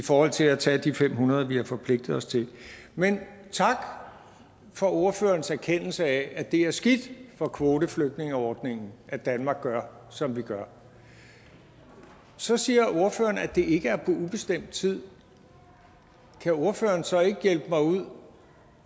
i forhold til at tage de fem hundrede vi har forpligtet os til men tak for ordførerens erkendelse af at det er skidt for kvoteflygtningeordningen at danmark gør som vi gør så siger ordføreren at det ikke er på ubestemt tid kan ordføreren så ikke hjælpe mig ud